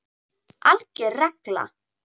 ALGER REGLA